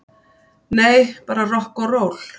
Nei, bara rokk og ról.